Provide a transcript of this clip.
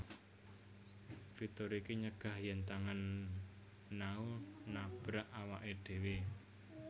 Fitur iki nyegah yen tangan Nao nabrak awake dewe